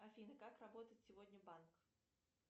афина как работает сегодня банк